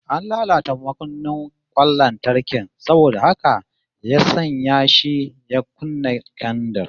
An latata makunnin kwan lantarkin saboda haka ya sanya shi ya kunna kendir